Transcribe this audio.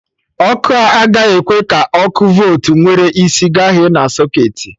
Ọkụ a agaghị ekwe ka ọkụ voltu nwere isi gaghe na socketị